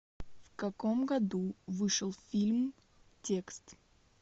в каком году вышел фильм текст